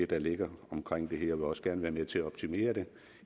der ligger omkring det her og vil også gerne være med til at optimere det